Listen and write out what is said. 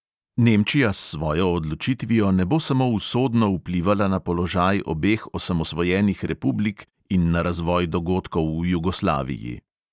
Nemčija s svojo odločitvijo ne bo samo usodno vplivala na položaj obeh osamosvojenih republik in na razvoj dogodkov v jugoslaviji.